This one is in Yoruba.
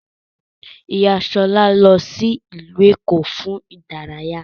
Ìyá Ṣọlá lọ sí ìlú Èkó fún ìdárayá